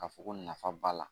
Ka fɔ ko nafa b'a la